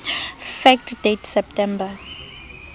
fact date september